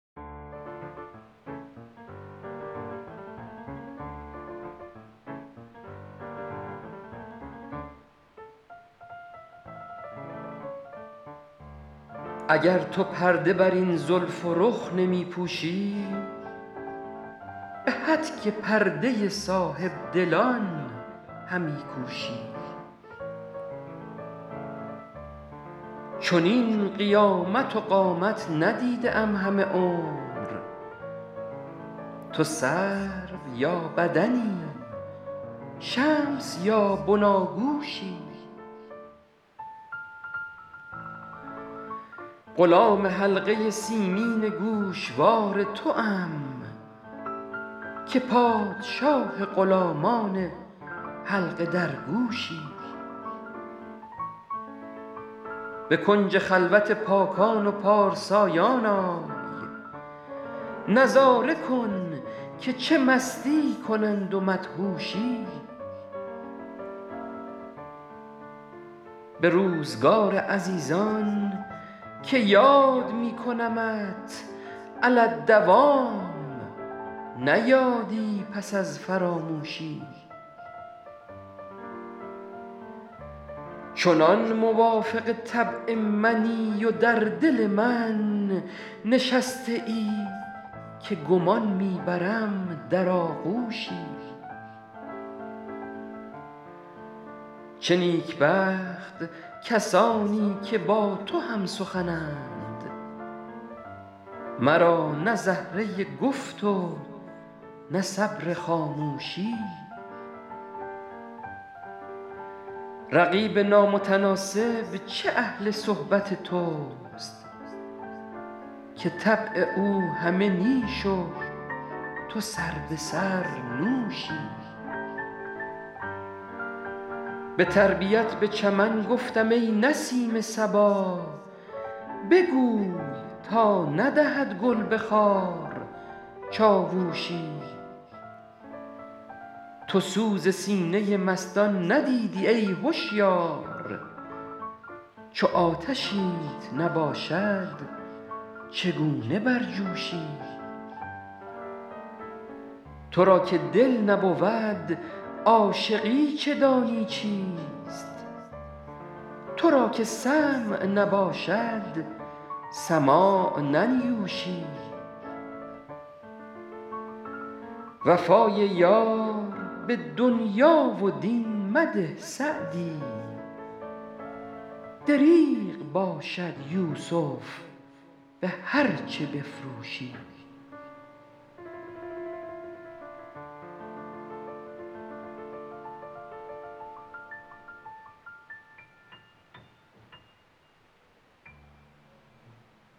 اگر تو پرده بر این زلف و رخ نمی پوشی به هتک پرده صاحب دلان همی کوشی چنین قیامت و قامت ندیده ام همه عمر تو سرو یا بدنی شمس یا بناگوشی غلام حلقه سیمین گوشوار توام که پادشاه غلامان حلقه درگوشی به کنج خلوت پاکان و پارسایان آی نظاره کن که چه مستی کنند و مدهوشی به روزگار عزیزان که یاد می کنمت علی الدوام نه یادی پس از فراموشی چنان موافق طبع منی و در دل من نشسته ای که گمان می برم در آغوشی چه نیکبخت کسانی که با تو هم سخنند مرا نه زهره گفت و نه صبر خاموشی رقیب نامتناسب چه اهل صحبت توست که طبع او همه نیش و تو سربه سر نوشی به تربیت به چمن گفتم ای نسیم صبا بگوی تا ندهد گل به خار چاووشی تو سوز سینه مستان ندیدی ای هشیار چو آتشیت نباشد چگونه برجوشی تو را که دل نبود عاشقی چه دانی چیست تو را که سمع نباشد سماع ننیوشی وفای یار به دنیا و دین مده سعدی دریغ باشد یوسف به هرچه بفروشی